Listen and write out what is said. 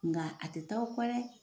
Nga a te taa o kɔ dɛ